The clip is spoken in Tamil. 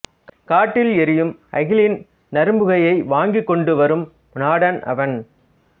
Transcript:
காட்டில் எரியும் அகிலின் நறும்புகையை வாங்கிக்கொண்டு வரும் நாடன் அவன்